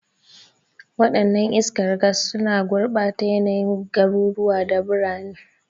Wadannan iskar gas suna gurbata yanayin garuruwa da birane.